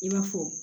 I b'a fɔ